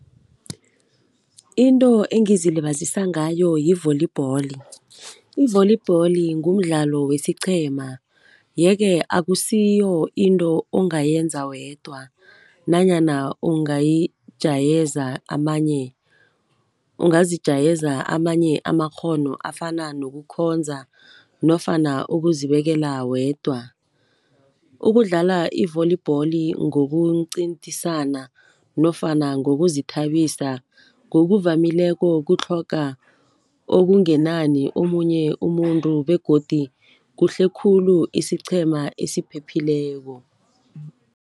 Into engizilibazisa ngayo yi-volleyball, i-volleyball ngumdlalo wesiqhema, yeke akusiyo into ongayenza wedwa nanyana ungazijayeza amanye amakghono afana nokukhonza nofana ukuzibekela wedwa. Ukudlala i-volleyball ngokuncintisana nofana ngokuzithabisa, ngokuvamileko kutlhoga okungenani omunye umuntu begodu kuhle khulu isiqhema esiphephileko.